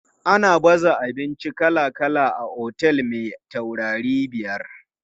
Ana baza abinci kala kala a otel me taurarai biyar.